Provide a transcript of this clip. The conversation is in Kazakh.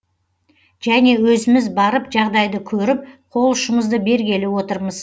және өзіміз барып жағдайды көріп қол ұшымызды бергелі отырмыз